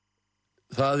það